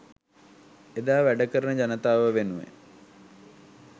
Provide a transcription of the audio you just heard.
එදා වැඩකරන ජනතාව වෙනුවෙන්